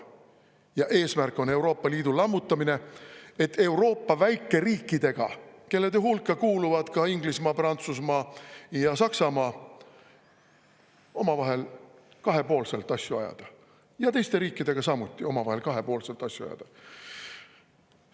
Ja eesmärk on Euroopa Liidu lammutamine, et Euroopa väikeriikidega, kelle hulka kuuluvad ka Inglismaa, Prantsusmaa ja Saksamaa, omavahel kahepoolselt asju ajada, ja teiste riikidega samuti omavahel kahepoolselt asju ajada.